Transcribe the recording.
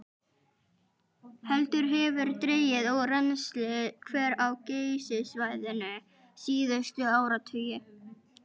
Heldur hefur dregið úr rennsli hvera á Geysissvæðinu síðustu áratugi.